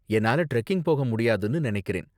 என்னால டிரெக்கிங் போக முடியாதுனு நினைக்கிறேன்.